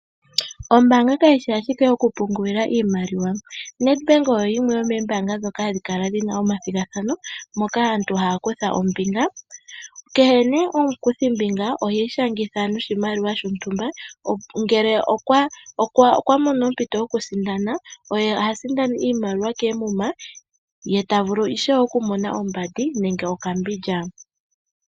Ombaanga ka yi shi ashike yo ku pungulila iimaliwa. Nedbank oyo yimwe yomoombaanga dhoka ha dhi kala dhi na omathigathano moka aantu ha ya kutha ombinga. Kehe nee omukuthi mbinga ohiishangitha noshimaliwa shontumba, ngele okwa mono ompito yo ku sindana, oye ha sindana iimaliwa keemuma, ye ta vulu ishewe oku mona oombadi nenge okambindja